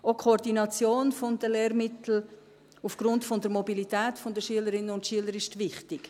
Die Koordination der Lehrmittel ist auch aufgrund der Mobilität der Schülerinnen und Schüler wichtig.